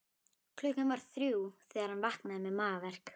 Klukkan var þrjú þegar hann vaknaði með magaverk.